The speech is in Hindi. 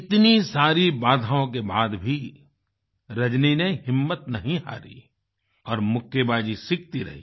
इतनी सारी बाधाओं के बाद भी रजनी ने हिम्मत नहीं हारी और मुक्केबाजी सीखती रही